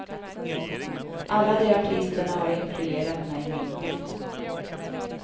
Alla de artisterna har influerat mig mycket.